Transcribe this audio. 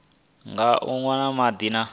nga u nwa madi na